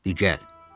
Di, gəl, dedim.